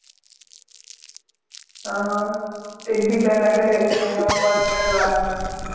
આહ એકબીજા નાં ઘરે જઈને homework કરવાનું.